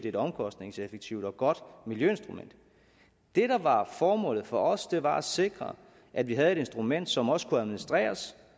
et omkostningseffektivt og godt miljøinstrument det der var formålet for os var at sikre at vi havde et instrument som også kunne administreres